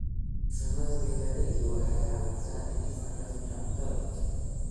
Farsamada beeralayda waxay caawisaa dhimista qashinka cuntada.